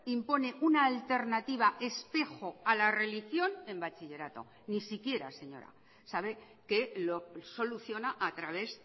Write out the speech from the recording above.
impone una alternativa espejo a la religión en bachillerato ni siquiera señora sabe que lo soluciona a través